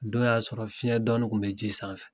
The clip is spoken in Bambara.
Nin Dɔn y'a sɔrɔ fiɲɛ dɔni tun bɛ ji sanfɛ.